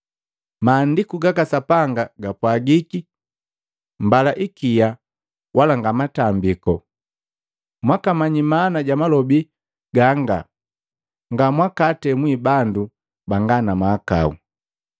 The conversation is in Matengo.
Maandiku gaka Sapanga gapwagiki, ‘Mbala ikia wala nga matambiku,’ mwakamanyi maana ja malobi ganga, ngamwakaatemwi bandu banga na mahakau.